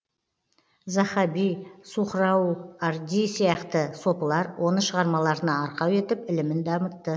заһаби сухрауарди сияқты сопылар оны шығармаларына арқау етіп ілімін дамытты